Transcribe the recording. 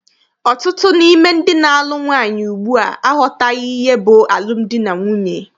Ọtụtụ n'ime ndị na-alụ nwaanyị ugbua aghọtaghị ihe bụ alụmdi na nwunye.